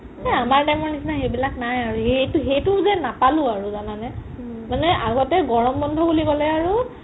সেই আমাৰ time ৰ নিচিনা সেই বিলাক নাই আৰু হেটো হেটো যে নাপালো আৰু জানা নে মানে আগতে গৰম বন্ধো বুলি ক'লে আৰু